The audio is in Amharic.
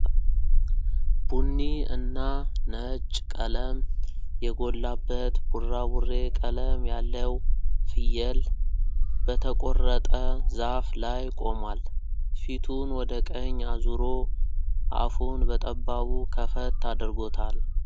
ቡኒ እና ነጭ ቀለም የጎላበት ቡራቡሬ ቀለም ያለው ፍየል በተቆረጠ ዛፍ ላይ ቆሟል። ፊቱን ወደ ቀኝ አዙሮ አፉን በጠባቡ ከፈት አድርጎታል።